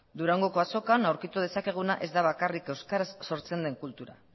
durangoko azokan aurkitu dezakeguna ez da bakarrik euskaraz sortzen den kultura